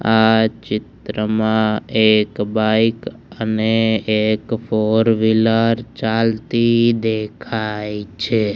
આ ચિત્રમાં એક બાઈક અને ફોર વીલર ચાલતી દેખાય છે.